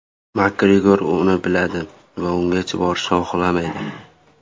Makgregor buni biladi va ungacha borishni xohlamaydi.